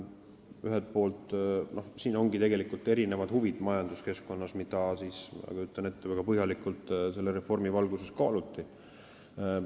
Majanduskeskkonnas ongi siin erinevad huvid, mida, ma kujutan nii ette, väga põhjalikult selle reformi valguses kaaluti.